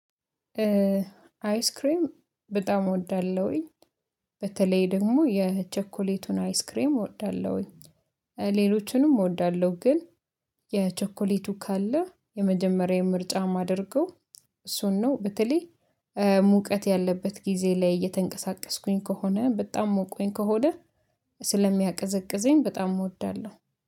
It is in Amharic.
አይስክሬም በጣም እወዳለሁኝ በተለይ ደግሞ የቸኮሌቱን አይስክሬም እወዳለሁኝ ሌሎችንም እወዳለሁ ግን የቸኮሌቱ ካለ የመጀመሪያዬ ምርጫ ማደረገው እሱን ነው። በተለይ ሙቀት ያለበት ጊዜ ላይ እየተንቀሳቀስኩኝ ከሆነ በጣም ሞቆኝ ከሆነ ስለሚያቀዘቅዘኝ በጣም እወዳለሁ